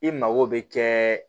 I mago bɛ kɛ